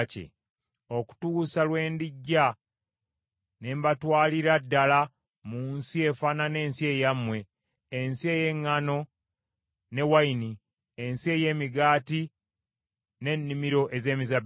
okutuusa lwe ndijja ne mbatwalira ddala mu nsi efaanana ensi yammwe, ensi ey’eŋŋaano ne wayini, ensi ey’emigaati n’ennimiro ez’emizabbibu.’